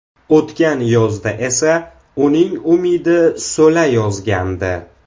O‘tgan yozda esa uning umidi so‘la yozgandi.